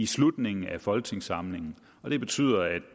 slutningen af folketingssamlingen og det betyder at